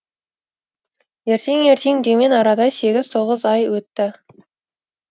ертең ертең деумен арада сегіз тоғыз ай өтті